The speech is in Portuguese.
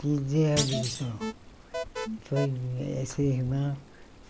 Perdi a visão. Foi eh essa irmã